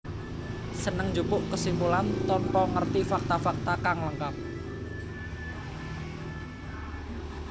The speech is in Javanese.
Seneng njupuk kesimpulan tanpa ngerti fakta fakta kang lengkap